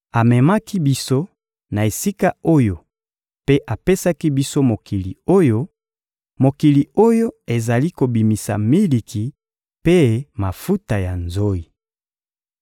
Amemaki biso na esika oyo mpe apesaki biso mokili oyo, mokili oyo ezali kobimisa miliki mpe mafuta ya nzoyi.